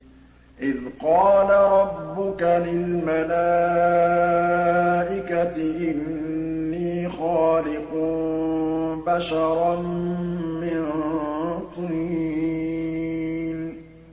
إِذْ قَالَ رَبُّكَ لِلْمَلَائِكَةِ إِنِّي خَالِقٌ بَشَرًا مِّن طِينٍ